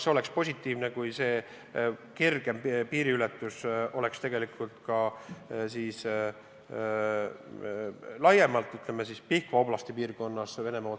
Kas oleks positiivne, kui see piiriületus oleks kergem ja saaks tegelikult liikuda ka laiemalt, ütleme siis, Pihkva oblastis.